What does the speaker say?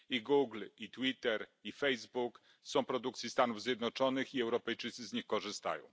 Google, Twitter, Facebook są produkcji Stanów Zjednoczonych i Europejczycy z nich korzystają.